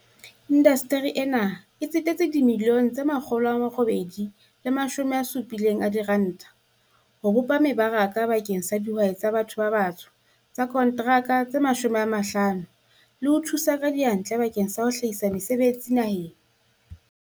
"Indasteri ena e tsetetse R870 milione ho bopa meba raka bakeng sa dihwai tsa ba tho ba batsho tsa konteraka tse 50 le ho thusa ka diyantle bakeng sa ho hlahisa mese betsi naheng."